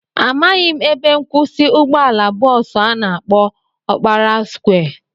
Amaghị m ebe nkwụsị ụgbọala bọọsu a na-akpọ Ọkpara skwịe